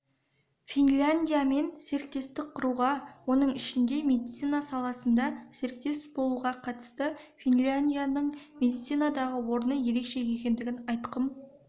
финляндиямен серіктестік құруға оның ішінде медицина саласында серіктес болуға қатысты финляндияның медицинадағы орны ерекше екендігін айтқым